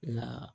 Nka